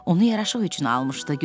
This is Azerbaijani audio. Onu yaraşıq üçün almışdı.